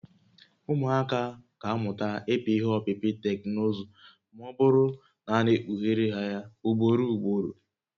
Ụmụaka ga-amụta ịpị ihé ọpịpị teknụzụ ma ọ bụrụ na a na-ekpughere ha ya ugboro ugboro